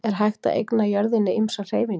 Er hægt að eigna jörðinni ýmsar hreyfingar?